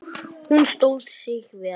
Hún stóð sig vel